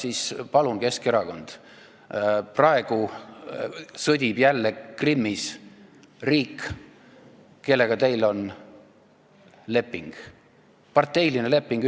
Aga palun, Keskerakond – praegu sõdib Krimmis jälle riik, kellega teil on parteiline leping.